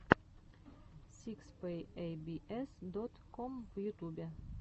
сикс пэк эй би эс дот ком в ютубе